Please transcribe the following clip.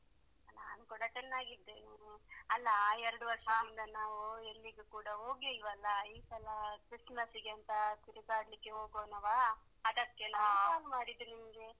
ನಾನು ಕೂಡ ಚೆನ್ನಾಗಿದ್ದೇನೆ ಅಲ್ಲಾ, ಎರಡು ವರ್ಷ ಇಂದ ನಾವು ಎಲ್ಲಿಗೂ ಕೂಡ ಹೋಗ್ಲಿಲ್ವಾ ಅಲ್ವಾ ಈ ಸಲ Christmas ಗೆ ಅಂತ ತಿರ್ಗಾಡಲಿಕ್ಕೆ ಹೋಗೋಣವಾ ಅದಕ್ಕೆ ನಾನು phone ಮಾಡಿದ್ದು ನಿಮ್ಗೆ .